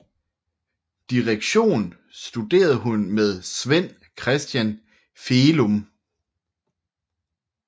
Direktion studerede hun med Svend Christian Felumb